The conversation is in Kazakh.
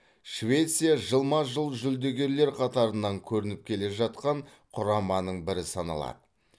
швеция жылма жыл жүлдегерлер қатарынан көрініп келе жатқан құраманың бірі саналады